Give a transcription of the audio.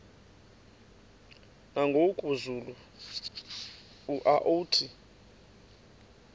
nangoku zulu uauthi